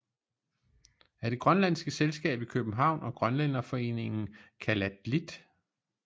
Af det grønlandske selskab i københavn og grønlænderforeningen kalatdlit